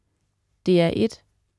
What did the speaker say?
DR1: